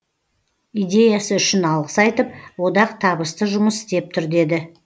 идеясы үшін алғыс айтып одақ табысты жұмыс істеп тұр деді